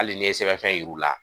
Hali n'i ye sɛbɛnfɛn yir'u la